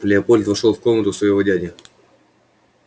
леопольд вошёл в комнату своего дяди